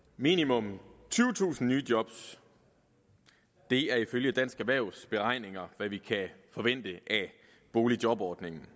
minimum tyvetusind nye job er ifølge dansk erhvervs beregninger hvad vi kan forvente af boligjobordningen